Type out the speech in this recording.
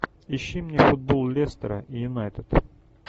ищи мне футбол лестера и юнайтед